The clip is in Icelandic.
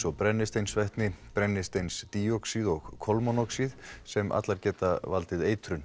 og brennisteinsvetni brennisteinsdíoxíð og kolmónoxíð sem allar geta valdið eitrun